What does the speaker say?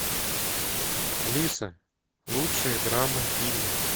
алиса лучшие драмы фильмы